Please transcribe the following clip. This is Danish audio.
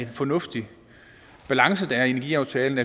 fornuftig balance der er i energiaftalen